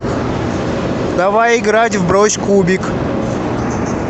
давай играть в брось кубик